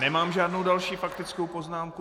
Nemám žádnou další faktickou poznámku.